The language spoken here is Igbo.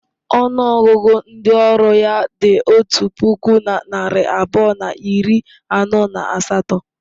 Ọnụ ọgụgụ ndị ọrụ ya dị otu puku na narị abụọ na iri anọ na asatọ.